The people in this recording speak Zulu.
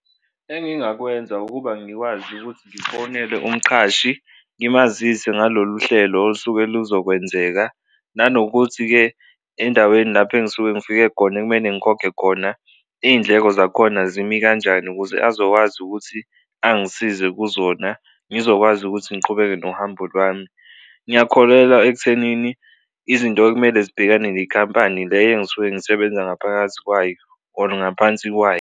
Engingakwenza ukuba ngikwazi ukuthi ngifonele umqashi ngimazise ngalolu hlelo osuke luzokwenzeka, nanokuthi-ke endaweni lapho engisuke ngifike khona ekumele ngikhokhe khona iy'ndleko zakhona zimi kanjani ukuze azokwazi ukuthi angisize kuzona ngizokwazi ukuthi ngiqhubeke nohambo lwami. Ngiyakholelwa ekuthenini izinto ekumele zibhekene nenkampani le engisuke ngisebenza ngaphakathi kwayo or ngaphansi kwayo.